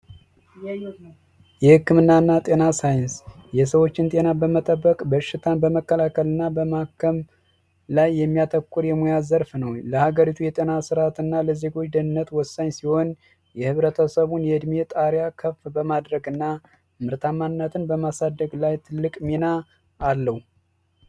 የህክምናና ጤና ሣይንስ የሰዎችን ጤና በመጠበቅ በሽታን በመከላከል እና በማከም ላይ የሚያተኩር የሙያ ዘርፍ ነው ለሀገሪቱ የጤና ዘርፍ የተወሰነ ሲሆን የህብረተሰቡ የእድሜ ጣርያ ከፍ በማድረግ እና ምርታማነትን በማሳደግ ላይ ትልቅ ሚና